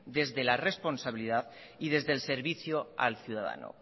desde la responsabilidad y desde el servicio al ciudadano